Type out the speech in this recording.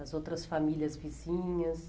As outras famílias vizinhas?